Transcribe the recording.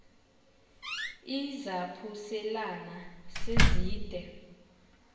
izaphuselana se zide